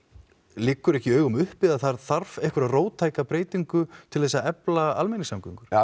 liggur ekki í augum uppi að það þurfi einhverja róttæka breytingu til þess að efla almenningssamgöngur